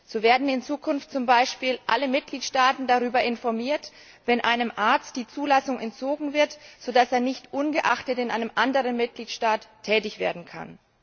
So werden in Zukunft zum Beispiel alle Mitgliedstaaten darüber informiert, wenn einem Arzt die Zulassung entzogen wird, sodass er nicht unbemerkt in einem anderen Mitgliedstaat tätig werden kann.